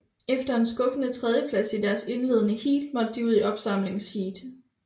Efter en skuffende tredjeplads i deres indledende heat måtte de ud i opsamlingsheat